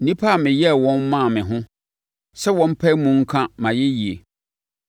nnipa a meyɛɛ wɔn maa me ho sɛ wɔmpae mu nka mʼayɛyie.